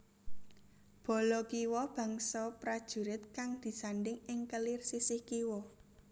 Bala kiwa bangsa prajurit kang disandhing ing kelir sisih kiwa